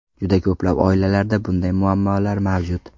Juda ko‘plab oilalarda bunday muammolar mavjud.